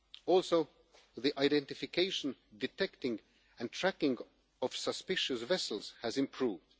Furthermore, the identification, detection and tracking of suspicious vessels has improved.